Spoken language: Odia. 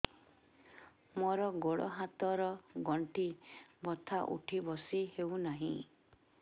ମୋର ଗୋଡ଼ ହାତ ର ଗଣ୍ଠି ବଥା ଉଠି ବସି ହେଉନାହିଁ